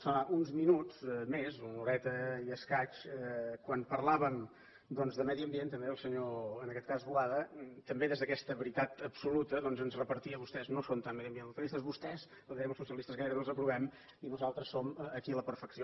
fa uns minuts més una horeta i escaig quan parlàvem doncs de medi ambient també el senyor en aquest cas boada també des d’aquesta veritat absoluta ens repartia vostès no són tan mediambientalistes a vostès ho deia als socialistes gairebé els aprovem i nosaltres som aquí la perfecció